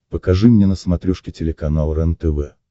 покажи мне на смотрешке телеканал рентв